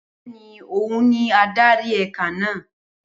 Bẹẹni ohun ni adari eka naa